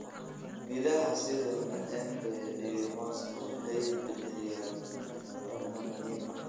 Midhaha sida maembe iyo mooska waxay bixiyaan fitamiinno muhiim ah.